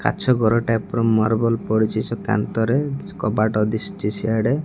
କାଚଘର ଟାଇ ର ମାର୍ବଲ ପଡିଚି ସେ କାନ୍ଥରେ କବାଟ ଦିଶୁଚି ସିଆଡେ --